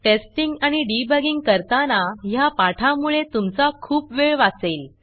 testing आणि debugging करताना ह्या पाठामुळे तुमचा खूप वेळ वाचेल